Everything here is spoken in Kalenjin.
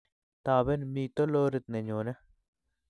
Taben mito lorit ne nyoni